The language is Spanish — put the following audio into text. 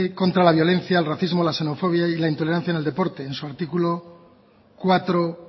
contra la violencia en racismo la xenofobia y la intoleranciaen el deporte en su artículo cuatro